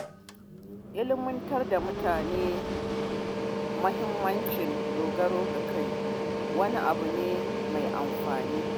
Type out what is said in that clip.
Ilmantar da mutane muhimmancin dogaro da kai abu ne mai amfani